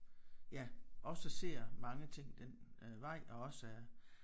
Ja også ser mange ting den øh vej og også